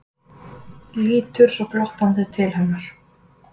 Lítur svo glottandi til hennar.